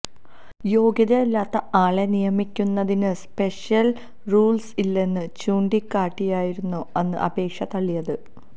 യോഗ്യതയില്ലാത്ത ആളെ നിയമിയ്ക്കുന്നതിന് special rules ഇല്ലെന്ന് ചൂണ്ടിക്കാട്ടിയായിരുന്നു അന്ന് അപേക്ഷ തള്ളിയത്